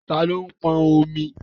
Tani ó pọn omi?